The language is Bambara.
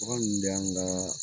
Bagan ninnu de y'an ka